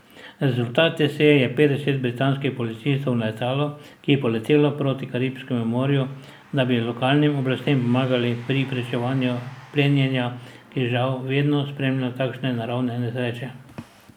Rezultat te seje je petdeset britanskih policistov na letalu, ki je poletelo proti Karibskemu morju, da bi lokalnim oblastem pomagali pri preprečevanju plenjenja, ki žal vedno spremlja takšne naravne nesreče.